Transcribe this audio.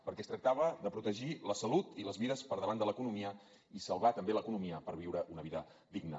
perquè es tractava de protegir la salut i les vides per davant de l’economia i salvar també l’economia per viure una vida digna